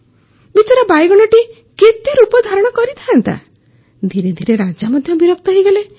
ବିଚରା ବାଇଗଣଟି କେତେ ରୂପ ଧାରଣ କରିଥାନ୍ତା ଧିରେ ଧିରେ ରାଜା ମଧ୍ୟ ବିରକ୍ତ ହୋଇଗଲେ